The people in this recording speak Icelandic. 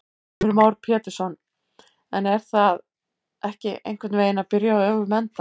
Heimir Már Pétursson: En er það ekki einhvern veginn að byrja á öfugum enda?